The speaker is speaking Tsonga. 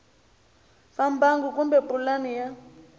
va mbangu kumbe pulani ya